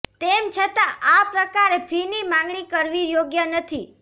તેમ છતાં આ પ્રકારે ફીની માંગણી કરવી યોગ્ય નથી